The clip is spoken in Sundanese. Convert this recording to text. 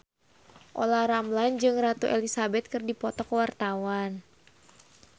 Olla Ramlan jeung Ratu Elizabeth keur dipoto ku wartawan